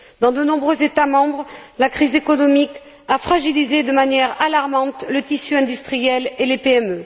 Dans de nombreux États membres, la crise économique a fragilisé de manière alarmante le tissu industriel et les PME.